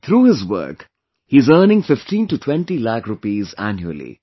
Through this work, he is earning 15 to 20 lakh rupees annually